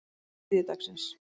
þriðjudagsins